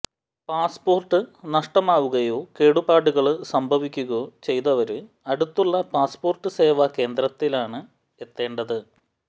passport നഷ്ടമാവുകയോ കേടുപാടുകള് സംഭവിക്കുകയോ ചെയ്തവര് അടുത്തുള്ള പാസ്പോര്ട്ട് സേവാ കേന്ദ്രത്തിലാണ് എത്തേണ്ടത്